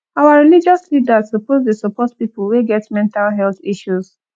our religious leaders suppose dey support pipo wey get mental health issues